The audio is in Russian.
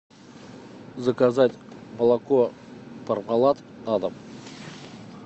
заказать молоко пармалат на дом